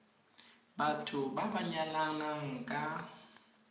batho ba ba nyalanang ka